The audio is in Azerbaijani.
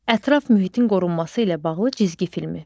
Ətraf mühitin qorunması ilə bağlı cizgi filmi.